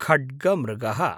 खड्गमृगः